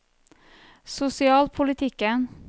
sosialpolitikken